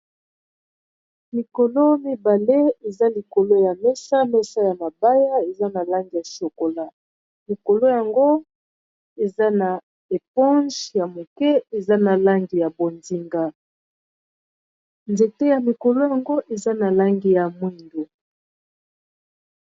Mikolo mibale eza likolo ya mesa, mesa ya mabaya eza na langi ya chocola, mikolo yango eza na eponge ya moke, eza na langi ya bonzinga, nzete ya mikolo yango eza na langi ya mwindu .